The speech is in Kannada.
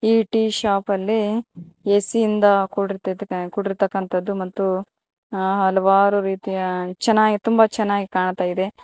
ಈ ಟೀ ಶಾಪ್ ಅಲ್ಲಿ ಎ_ಸಿ ಇಂದ ಕೂಡಿರ್ತಕಂತ ಕೂಡಿರ್ತಕಂತದ್ದು ಹಲವಾರು ರೀತಿಯ ಚೆನ್ನಾಗಿ ತುಂಬಾ ಚೆನ್ನಾಗಿ ಕಾಣ್ತಾ ಇದೆ.